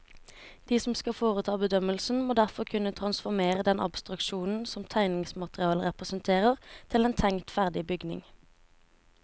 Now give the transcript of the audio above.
De som skal foreta bedømmelsen, må derfor kunne transformere den abstraksjonen som tegningsmaterialet representerer til en tenkt ferdig bygning.